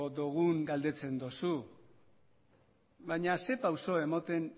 dogun galdetzen dozu baina zer pauso emoten